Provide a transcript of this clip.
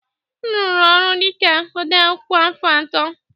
M rụrụ ọrụ dị ka odeakwụkwọ afọ atọ